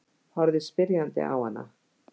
Horfði spyrjandi á hana.